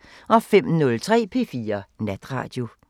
05:03: P4 Natradio